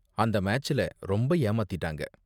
அந்த மேட்ச்ல ரொம்ப ஏமாத்திட்டாங்க.